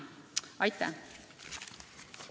Aitäh!